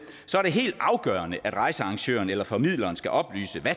så er det helt afgørende at rejsearrangøren eller formidleren skal oplyse